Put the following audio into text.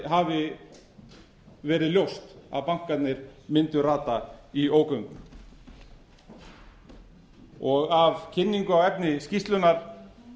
hafi verið ljóst að bankarnir mundu rata í ógöngur af kynningu á efni skýrslunnar